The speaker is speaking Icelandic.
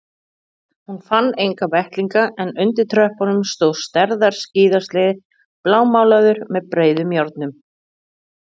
Hún fann enga vettlinga en undir tröppunum stóð stærðar skíðasleði blámálaður með breiðum járnum.